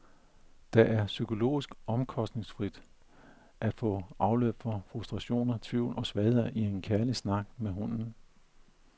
Det er psykologisk omkostningsfrit at få afløb for frustrationer, tvivl og svagheder i en kærlig snak med hunden.